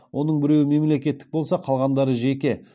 оның біреуі мемлекеттік болса қалғандары жеке